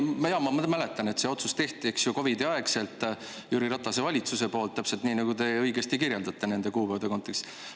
Ma mäletan, et see otsus tehti COVID-i ajal Jüri Ratase valitsuse poolt, täpselt nii, nagu te õigesti kirjeldate nende kuupäevade kontekstis.